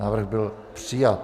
Návrh byl přijat.